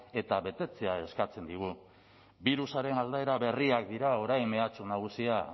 eta betetzea eskatzen digu birusaren aldaera berriak dira orain mehatxu nagusia